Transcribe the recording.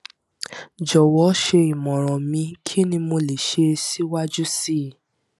jọwọ ṣe imọran mi kini mo le ṣe siwaju sii